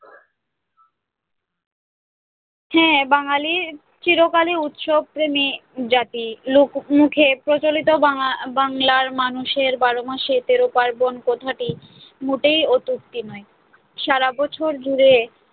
হ্যাঁ বাঙালি চিরকালই উৎসবপ্রেমী জাতি লোকমুখে প্রচলিত “বাংলাবাংলার মানুষের বারো মাসে তেরো পার্বণ” কথাটি মোটেই অত্যুক্তি নয় সারা বছর জুড়ে